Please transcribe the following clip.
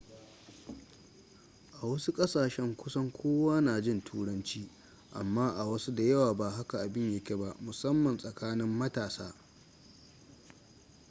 a wasu kasashen kusan kowa na jin turanci amma a wasu da yawa ba haka abin ya ke ba musamman tsakanin matasa